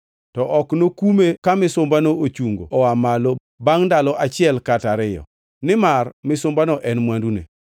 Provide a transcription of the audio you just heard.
To ok enokume ka misumbano ochungo oa malo bangʼ ndalo achiel kata ariyo, nimar misumbano en mwandune.